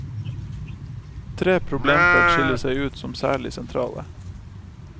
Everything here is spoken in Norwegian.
Tre problemfelt skiller seg ut som særlig sentrale.